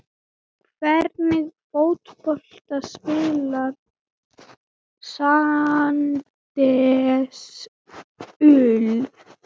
Hvernig fótbolta spilar Sandnes Ulf?